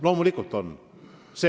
Loomulikult on.